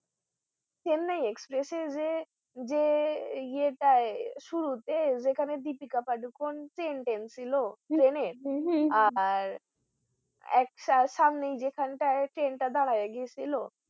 Chennai Express এ যে যে এতে শুরুতে যেখানে দীপিকা পাডুকোনে chain টানছিলো train এর আর সামনে যেখানটায় train টা দাঁড়ায় গেছিলো